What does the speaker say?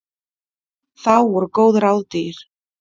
Þá voru góð ráð dýr.